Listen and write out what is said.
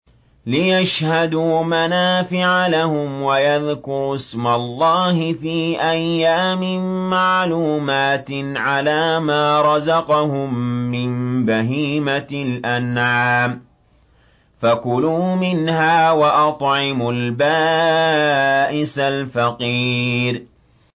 لِّيَشْهَدُوا مَنَافِعَ لَهُمْ وَيَذْكُرُوا اسْمَ اللَّهِ فِي أَيَّامٍ مَّعْلُومَاتٍ عَلَىٰ مَا رَزَقَهُم مِّن بَهِيمَةِ الْأَنْعَامِ ۖ فَكُلُوا مِنْهَا وَأَطْعِمُوا الْبَائِسَ الْفَقِيرَ